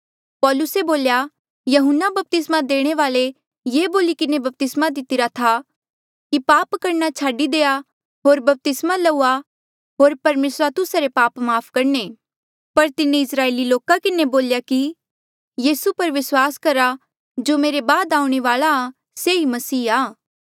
पौलुसे बोल्या यहून्ना बपतिस्मा देणे वाल्ऐ ये बोली किन्हें बपतिस्मा दितिरा था की पाप करणा छाडी देआ होर बपतिस्मा लउआ होर परमेसरा तुस्सा रे पाप माफ़ करणे पर तिन्हें इस्राएली लोका किन्हें बोल्या की यीसू पर विस्वास करहा जो मेरे बाद आऊणें वाल्आ आ से ही मसीहा आ